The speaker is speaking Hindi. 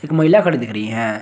महिला खड़ी दिख रही हैं।